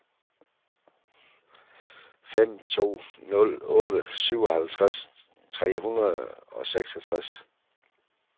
fem to nul otte syvoghalvtreds tre hundrede og seksogtres